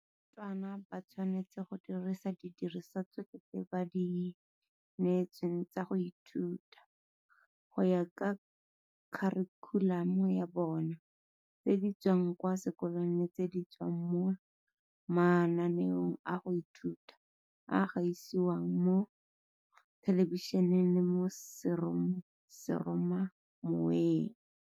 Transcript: Barutwana ba tshwanetse go dirisa didirisiwa tsotlhe tse ba di neetsweng tsa go ithuta, go ya ka kharikhulamo ya bona, tse di tswang kwa sekolong le tse di tswang mo mananeong a go ithuta a a gasiwang mo thelebišeneng le mo seromamoweng.